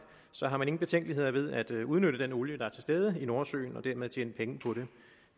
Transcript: så har man ingen betænkeligheder ved at udnytte den olie der er til stede i nordsøen og dermed tjene penge på den